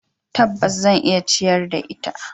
Tabbas, zan iya ciyar da ita.